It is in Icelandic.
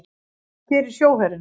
Hvað gerir sjóherinn?